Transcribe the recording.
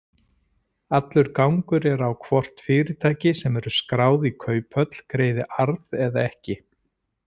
Allur gangur er á hvort fyrirtæki sem eru skráð í kauphöll greiði arð eða ekki.